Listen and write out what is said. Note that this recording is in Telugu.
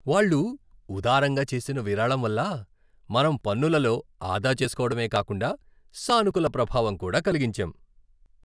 వాళ్ళు ఉదారంగా చేసిన విరాళం వల్ల మనం పన్నులలో ఆదా చేస్కోవడమే కాకుండా సానుకూల ప్రభావం కూడా కలిగించాం!